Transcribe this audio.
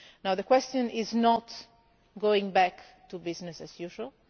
The question is not about going back to business as